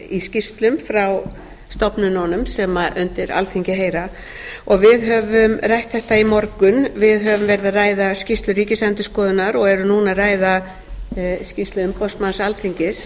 í skýrslum frá stofnunum sem undir alþingi heyra við höfum rætt þetta í morgun við höfum verið að ræða skýrslu ríkisendurskoðunar og erum núna að ræða skýrslu umboðsmanns alþingis